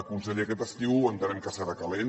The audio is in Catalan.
conseller aquest estiu entenem que serà calent